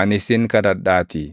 ani sin kadhadhaatii.